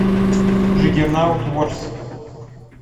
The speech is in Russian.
джаггернаут ворс